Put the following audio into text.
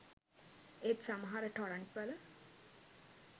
ඒත් සමහර ටොරන්ට් වල